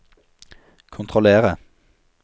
kontrollere